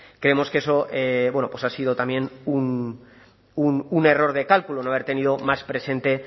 creemos que eso bueno pues ha sido también un error de cálculo no haber tenido más presente